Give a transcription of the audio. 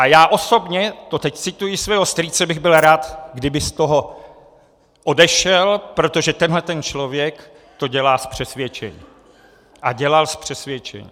A já osobně," to teď cituji svého strýce, "bych byl rád, kdyby z toho odešel, protože tenhle ten člověk to dělá z přesvědčení a dělal z přesvědčení."